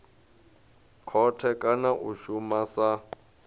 khothe kana a shuma sa